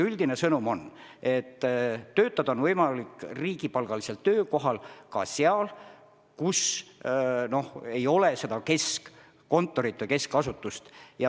Üldine sõnum on, et riigipalgalisel töökohal on võimalik töötada ka seal, kus ei ole keskkontorit või keskasutust.